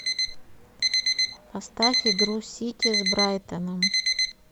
поставь игру сити с брайтоном